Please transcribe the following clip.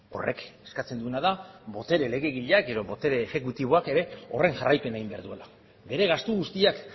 horrek eskatzen duena da botere legegileak edo botere exekutiboak ere horren jarraipena egin behar duela bere gastu guztiak